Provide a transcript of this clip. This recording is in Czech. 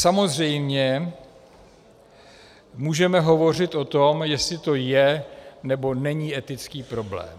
Samozřejmě můžeme hovořit o tom, jestli to je, nebo není etický problém.